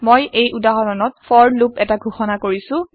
মই এই উদাহৰণত ফৰ লুপ এটা ঘোষণা কৰিছো